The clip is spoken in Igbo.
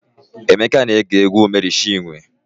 Emeka na-ege egwu Mery Chiwe.